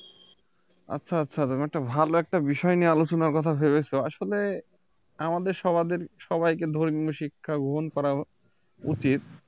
আচ্ছা আচ্ছা ব্যাপারটা ভালো একটা বিষয় নিয়ে আলোচনার কথা ভেবেছো আসলে আমাদের সবাদের সবাইকে ধর্মীয় শিক্ষা গ্রহণ করা উচিত